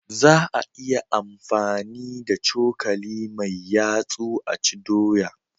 Za a iya amfani da cokali mai yatsu a ci doya